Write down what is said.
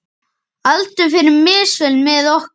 Aldur fer misvel með okkur.